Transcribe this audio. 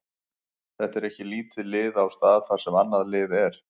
Þetta er ekki lítið lið á stað þar sem annað lið er.